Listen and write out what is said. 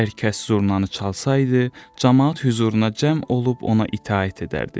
Hər kəs zurnanı çalsaydı, camaat hüzuruna cəm olub ona itaət edərdi.